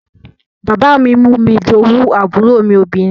Bàbá mi mú mi jowú àbúrò mi obìnrin